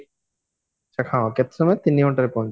ଆଚ୍ଛା ହଁ ତିନି ଘଣ୍ଟାରେ ପହଞ୍ଚି